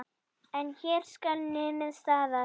En hér skal numið staðar.